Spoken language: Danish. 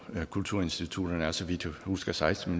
kulturinstitutterne er så vidt jeg husker seksten